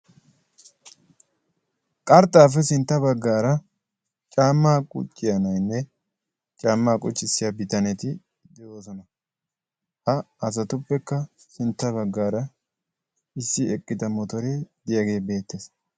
qarxxaappe sintta baggaara caammaa qucciyaa nainne caammaa quccissiya bitaneti de7oosona. ha asatuppekka sintta baggaara issi eqqida motoree diyaagee beettees.